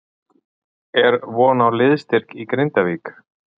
Er von á liðsstyrk í Grindavík?